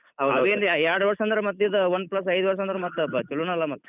ಆವೇನ್ ಎರಡ್ ವರ್ಷ್ ಅಂದ್ರ್ ಮತ್ ಇದ್ Oneplus ಐದ್ ವರ್ಷ್ ಅಂದ್ರ್ ಛಲೋನಲಾ ಮತ್.